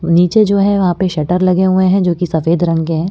और नीचे जो है वहां पे शटर लगे हुए हैं जो कि सफेद रंग के हैं।